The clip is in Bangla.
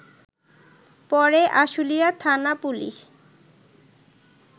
পরে আশুলিয়া থানা পুলিশ